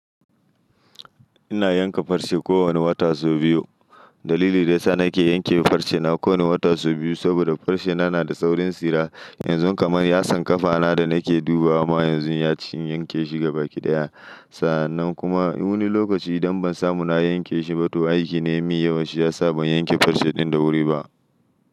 Ina yanka farce kowane wata so biyu. Dalili daya sa nake yanke farce na ko wane wata so biyu saboda farce na na da saurin tsira. Yanzu kamar yasan kafa na da nake duba ama yanzu yaci in yanke shi gabaki daya. Sannan kuma wani lokaci idan ban samu na yanke shi ba toh aiki na ya min yawa shi ya sa ban yanke farce din da wuri ba.